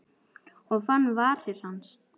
Og fann varir hans.